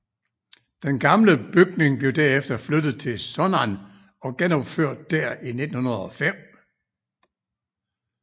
Den gamle bygning blev derefter flyttet til Sunnan og genopført der i 1905